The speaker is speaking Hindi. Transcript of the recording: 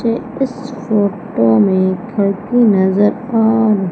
ये इस फोटो में घर भी नजर आ--